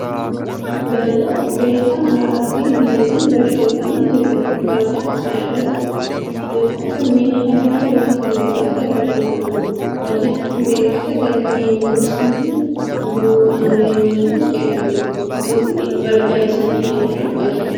Barjaa qubee afaan Amaaraa fi Ingiliziin barreeffamee jiruudha. Barjaa kana irratti qubeewwan kunneen halluu diimaa fi gurraachaan barreeffaman. Barjaan kun beeksisa galmee 'yuuniversiitii' qulqulluu Maariyaamii kan jechuudha. Duubni barjaa kanaa halluu adiidha.